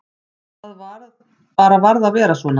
Það bara varð að vera svo.